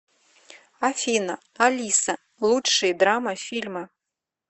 афина алиса лучшие драма фильмы